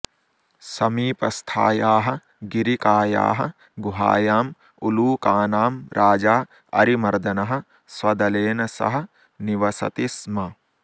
समीपस्थायाः गिरिकायाः गुहायां उलूकानां राजा अरिमर्दनः स्वदलेन सह निवसति स्म